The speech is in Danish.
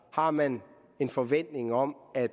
har man en forventning om at